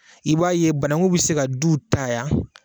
I b'a ye banakun bɛ se ka duw ta yan